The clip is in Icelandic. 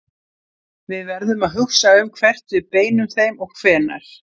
Við verðum að hugsa um hvert við beinum þeim og hvenær.